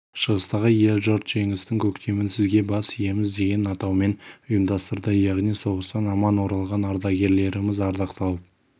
шығыстағы ел-жұрт жеңістің көктемін сізге бас иеміз деген атаумен ұйымдастырды яғни соғыстан аман оралған ардагерлеріміз ардақталып